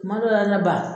Kuma dɔ la ne ba